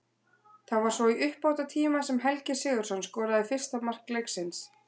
Það var svo í uppbótartíma sem Helgi Sigurðsson skoraði fyrsta mark leiksins.